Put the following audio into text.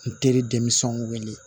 N teri denmisɛnninw wele